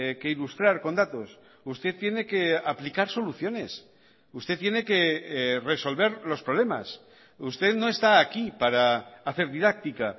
que ilustrar con datos usted tiene que aplicar soluciones usted tiene que resolver los problemas usted no está aquí para hacer didáctica